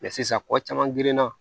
sisan kɔ caman grinna